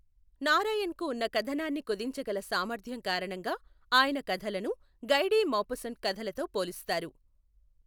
నారాయణ్కు ఉన్న కథనాన్ని కుదించగల సామర్థ్యం కారణంగా ఆయన కథలను గై డి మౌపస్సంట్ కథలతో పోలుస్తారు.